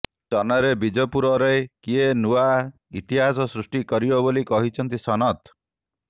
ଚନ ରେ ବିଜେପୁର ରେ କେ ନୂଆଁ ଇତିହାସ ସୃଷ୍ଟି କରିବ ବୋଲି କହିଛନ୍ତି ସନତ